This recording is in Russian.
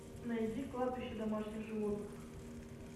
найди кладбище домашних животных